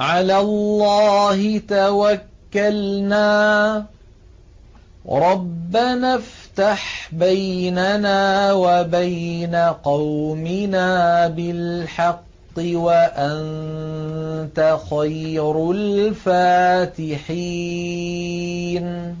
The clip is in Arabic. عَلَى اللَّهِ تَوَكَّلْنَا ۚ رَبَّنَا افْتَحْ بَيْنَنَا وَبَيْنَ قَوْمِنَا بِالْحَقِّ وَأَنتَ خَيْرُ الْفَاتِحِينَ